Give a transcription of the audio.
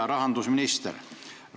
Hea rahandusminister!